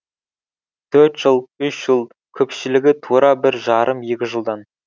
төрт жыл үш жыл көпшілігі тура бір жарым екі жылдан